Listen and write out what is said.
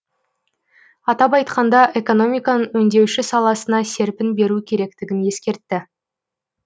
атап айтқанда экономиканың өңдеуші саласына серпін беру керектігін ескертті